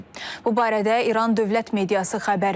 Bu barədə İran dövlət mediası xəbər verir.